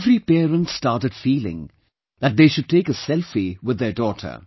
Every parent started feeling that they should take a selfie with their daughter